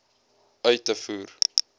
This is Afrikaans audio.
uit te voer